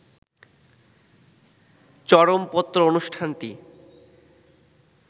চরমপত্র অনুষ্ঠানটি